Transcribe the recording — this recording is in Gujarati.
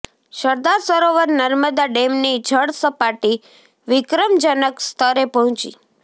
સરદાર સરોવર નર્મદા ડેમની જળ સપાટી વિક્રમજનક સ્તરે પહોંચી